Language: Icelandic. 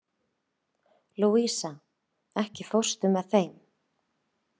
Louisa, ekki fórstu með þeim?